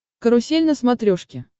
карусель на смотрешке